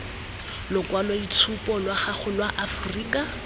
lokwaloitshupu lwa gago lwa aforika